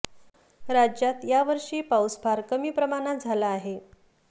राज्यात या वर्षी पाऊस फार कमी प्रमाणात झाला आहे